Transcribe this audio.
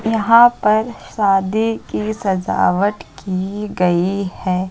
यहां पर शादी की सजावट की गई है।